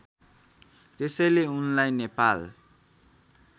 त्यसैले उनलाई नेपाल